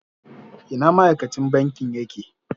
Ina ma'aikacin banki yake?